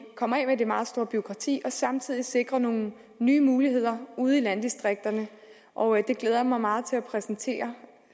komme af med det meget store bureaukrati og samtidig at sikre nogle nye muligheder ude i landdistrikterne og det glæder jeg mig meget til at præsentere